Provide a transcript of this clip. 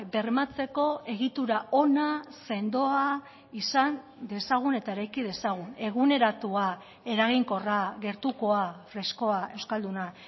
bermatzeko egitura ona sendoa izan dezagun eta eraiki dezagun eguneratua eraginkorra gertukoa freskoa euskalduna